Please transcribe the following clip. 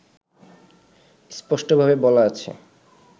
স্পষ্টভাবে বলা আছে